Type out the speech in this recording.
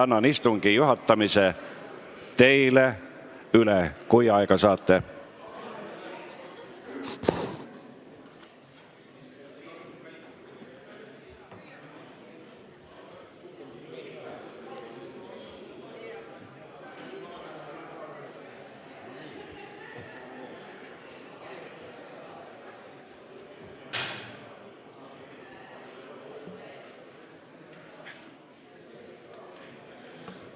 Annan istungi juhatamise teile üle, kui aega saate.